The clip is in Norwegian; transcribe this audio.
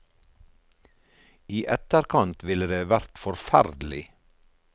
I etterkant ville det vært forferdelig.